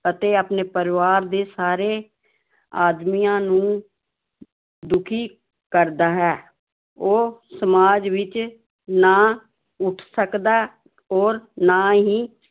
ਅਤੇ ਆਪਣੇ ਪਰਿਵਾਰ ਦੇ ਸਾਰੇ ਆਦਮੀਆਂ ਨੂੰ ਦੁੱਖੀ ਕਰਦਾ ਹੈ ਉਹ ਸਮਾਜ ਵਿੱਚ ਨਾ ਉੱਠ ਸਕਦਾ ਔਰ ਨਾ ਹੀ